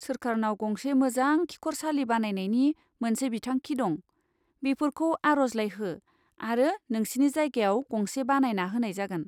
सोरखारनाव गंसे मोजां खिखरसालि बानायनायनि मोनसे बिथांखि दं, बेफोरखौ आरजलाइ हो आरो नोंसिनि जायगायाव गंसे बानायना होनाय जागोन।